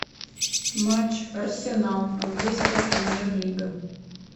матч арсенал английская премьер лига